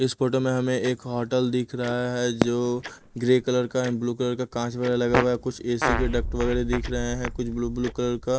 इस फोटो में हमें एक होटल दिख रहा है जो ग्रे कलर का ब्लू कलर का काँच वगैरा लगा हुआ है कुछ ए_सी के डक्ट वगैरह दिख रहे हैं कुछ ब्लू ब्लू कलर का--